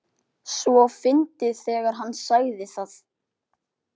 . svo fyndið þegar HANN sagði það!